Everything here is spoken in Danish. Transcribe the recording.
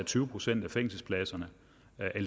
tyve procent af fængselspladserne